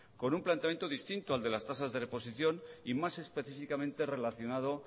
con un planteamiento distinto al de las tasas de reposición y más específicamente relacionado